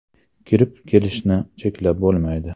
Kirib kelishni cheklab bo‘lmaydi.